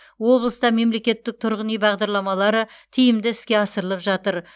облыста мемлекеттік тұрғын үй бағдарламалары тиімді іске асырылып жатыр